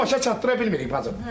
Amma başa çatdıra bilmirik bacım.